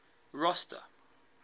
rosta